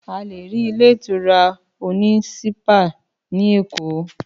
Àlè rí ilé ìtura òní ṣípà ni Ékò.